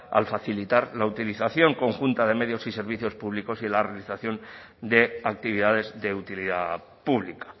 al facilitar la utilización conjunta de medios y servicios públicos y la realización de actividades de utilidad pública